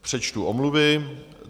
Přečtu omluvy.